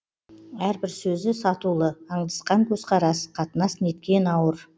әрбір сөзі сатулы аңдысқан көзқарас қатынас неткен ауыр